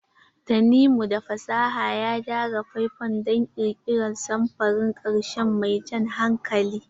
Tanimu da fasaha ya gyara faifan don ƙirƙirar samfurin ƙarshe mai jan hankali.